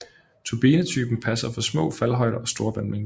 Turbinetypen passer for små faldhøjder og store vandmængder